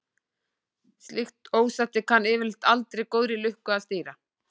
Slíkt ósætti kann yfirleitt aldrei góðri lukka að stýra.